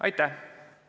Aitäh!